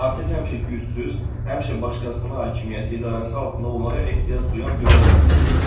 Artıq həmşə gücsüz, həmşə başqasının hakimiyyəti idarəsi altında olmağa ehtiyac duyan biri olar.